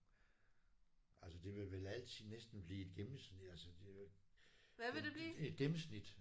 Altså det vil vel altid næsten blive et gennemsnit altså det er jo et gennemsnit